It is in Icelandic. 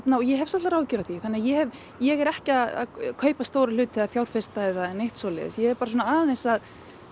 ég hef svolitlar áhyggjur af því þannig að ég hef ég er ekki að kaupa stóra hluti eða fjárfesta eða neitt svoleiðis ég er bara svona aðeins að